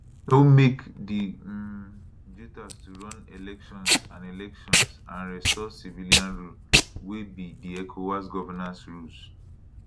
no make di um juntas to run elections and elections and restore civilian rule wey be di ecowas governance rules